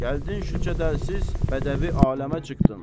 Gəldin şu cədəlsiz bədəvi aləmə çıxdın.